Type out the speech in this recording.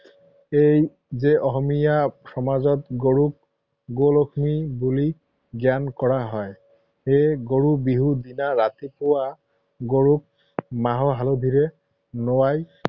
এই যে অসমীয়া সমাজত গৰুক গৌ লক্ষ্মী বুলি জ্ঞান কৰা হয়, সেয়ে গৰু বিহুৰ দিনা ৰাতিপুৱা গৰুক মাহ হালধিৰে নুৱাই